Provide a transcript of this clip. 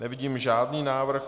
Nevidím žádný návrh.